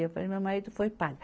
Eu falo, meu marido foi padre